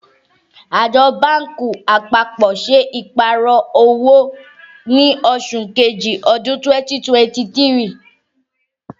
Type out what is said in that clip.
Àjọ báńkì àpapọ̀ ṣe Ìpàrọ̀ owó ní oṣù kejì ọdún 2023